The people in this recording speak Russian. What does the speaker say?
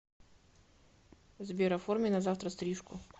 сбер оформи на завтра стрижку